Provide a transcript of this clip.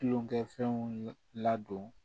Tulonkɛfɛnw ladon